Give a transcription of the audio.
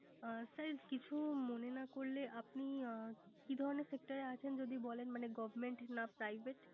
অ sir কিছু মনে না করলে আপনি কি ধরনের Sector আছেন যদি বলেন Government না Privete